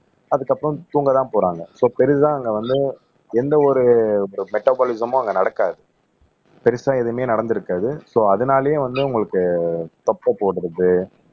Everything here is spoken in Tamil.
அதுக்கப்புறம் தூங்கதான் போறாங்க சோ பெருசா அங்க வந்து எந்த ஒரு மெட்டபாலிசமும் அங்க நடக்காது பெருசா எதுவுமே நடந்திருக்காது சோ அதனாலயே வந்து உங்களுக்கு தொப்பை போட்டுருது